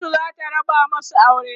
kotu zata raba masu aure